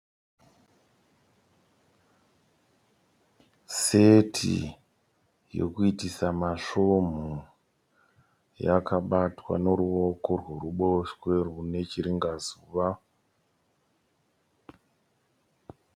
Seti yekuitisa masvomhu yakabatwa neruoko rwekuruboshwe rwune chiringazuva.